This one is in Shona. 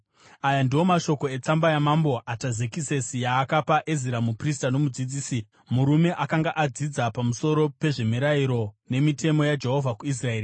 Aya ndiwo mashoko etsamba yaMambo Atazekisesi yaakapa Ezira muprista nomudzidzisi, murume akanga akadzidza pamusoro pezvemirayiro nemitemo yaJehovha kuIsraeri: